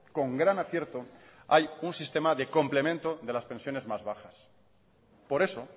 con gran acierto hay un sistema de complemento de las pensiones más bajas por eso